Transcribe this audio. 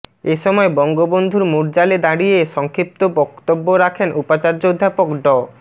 এসময় বঙ্গবন্ধুর মুর্যালে দাড়িয়ে সংক্ষিপ্ত বক্তব্য রাখেন উপাচার্য অধ্যাপক ড